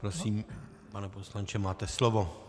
Prosím, pane poslanče, máte slovo.